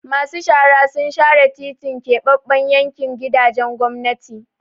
Masu shara sun share titin Keɓaɓɓen yankin gidajen gwamnati.